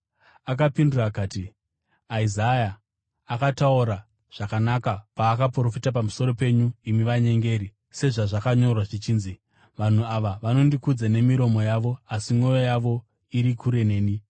Akapindura akati, “Isaya akataura zvakanaka paakaprofita pamusoro penyu imi vanyengeri; sezvazvakanyorwa zvichinzi: “ ‘Vanhu ava vanondikudza nemiromo yavo, asi mwoyo yavo iri kure neni.